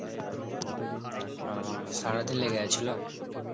ও সারাদিন লেগে গেছিল?